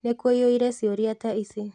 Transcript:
Nĩ kwĩyũria ciũria ta ici